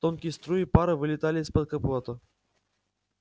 тонкие струи пара вылетали из-под капота